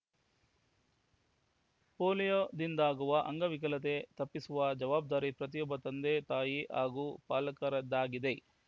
ಪೋಲಿಯೋದಿಂದಾಗುವ ಅಂಗವಿಕಲತೆ ತಪ್ಪಿಸುವ ಜವಾಬ್ದಾರಿ ಪ್ರತಿಯೊಬ್ಬ ತಂದೆ ತಾಯಿ ಹಾಗೂ ಪಾಲಕರದ್ದಾಗಿದೆ